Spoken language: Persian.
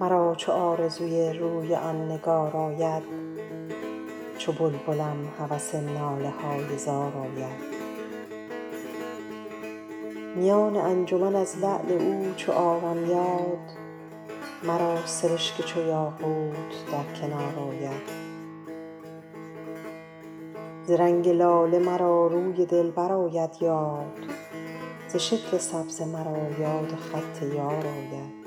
مرا چو آرزوی روی آن نگار آید چو بلبلم هوس ناله های زار آید میان انجمن از لعل او چو آرم یاد مرا سرشک چو یاقوت در کنار آید ز رنگ لاله مرا روی دلبر آید یاد ز شکل سبزه مرا یاد خط یار آید